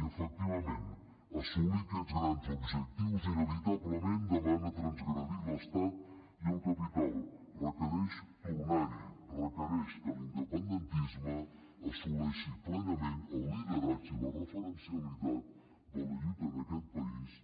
i efectivament assolir aquests grans objectius inevitablement demana transgredir l’estat i el capital requereix tornar hi requereix que l’independentisme assoleixi plenament el lideratge i la referencialitat de la lluita en aquest país